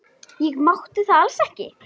Ég mátti það alls ekki.